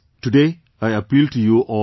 Today, I appeal to you all as well